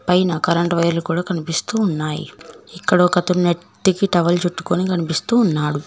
పైన కరెంటు వైర్లు కూడా కనిపిస్తూ ఉన్నాయి ఇక్కడ ఒకతను నెత్తికి టవల్ చుట్టుకుని కనిపిస్తూ ఉన్నాడు.